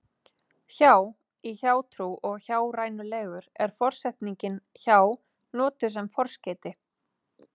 Hjá- í hjátrú og hjárænulegur er forsetningin hjá notuð sem forskeyti.